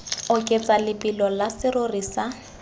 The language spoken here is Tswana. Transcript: oketsa lebelo la serori sa